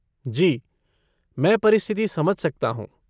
जी, मैं परिस्थिति समझ सकता हूँ।